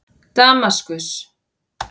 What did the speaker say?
Damaskus